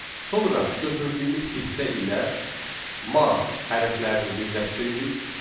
Sonra götürdüyümüz hissə ilə 'ma' hərflərini birləşdiririk.